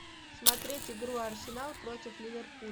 смотреть игру арсенал против ливерпуль